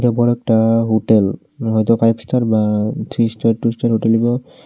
বড় একটা হুটেল হয়তো ফাইভ স্টার বা three star two star hotel হইব।